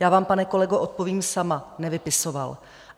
Já vám, pane kolego, odpovím sama. nevypisoval.